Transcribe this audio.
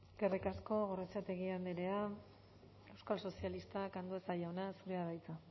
eskerrik asko gorrotxategi andrea euskal sozialistak andueza jauna zurea da hitza